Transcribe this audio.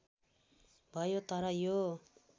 भयो तर यो